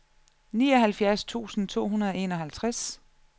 nioghalvfjerds tusind to hundrede og enoghalvtreds